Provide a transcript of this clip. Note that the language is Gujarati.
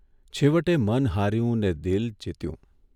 છેવટે મન હાર્યું ને દિલ જીત્યું.